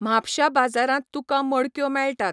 म्हापश्या बाजारांत तुका मडक्यो मेळटात.